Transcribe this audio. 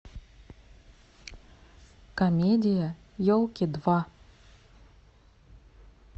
комедия елки два